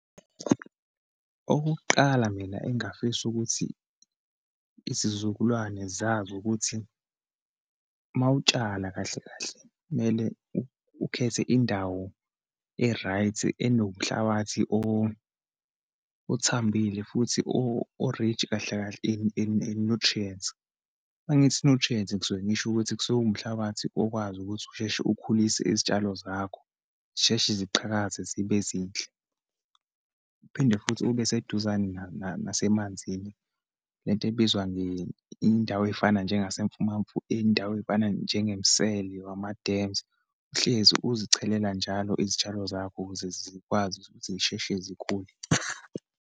Okokuqala, mina engafisa ukuthi izizukulwane zazi ukuthi uma utshala kahle kahle, kumele ukhethe indawo e-right, enomhlabathi othambile futhi o-rich, kahle kahle in nutrients. Uma ngithi nutrients, ngisuke ngisho ukuthi kusuke kuwumhlabathi okwazi ukuthi usheshe ukhulise izitshalo zakho, zisheshe ziqhakaze zibe zinhle. Uphinde futhi ube eseduzane nasemanzini, lento ebizwa nge indawo eyifana njengasemfumamfu, iyindawo eyifana njengemisele wama-dams. Uhlezi uzichelela njalo izitshalo zakho ukuze zikwazi ukuthi ukuthi zisheshe zikhule.